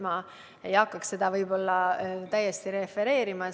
Ma ei hakkaks seda siin refereerima.